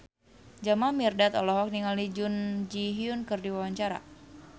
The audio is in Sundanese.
Jamal Mirdad olohok ningali Jun Ji Hyun keur diwawancara